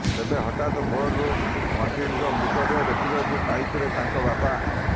ତେବେ ହଠାତ ଭୋରରୁ ମଣ୍ଟିନଙ୍କ ମୃତଦେହ ଦେଖିବାକୁ ପାଇଥିଲେ ତାଙ୍କ ବାପା